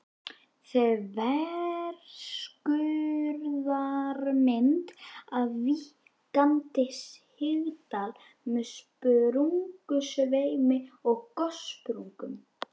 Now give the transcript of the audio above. Þverskurðarmynd af víkkandi sigdal með sprungusveimi og gossprungum.